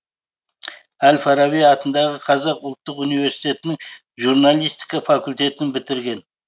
әл фараби атындағы қазақ ұлттық университетінің журналистика факультетін бітірген